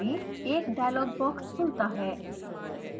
एक dialogue box खुलता है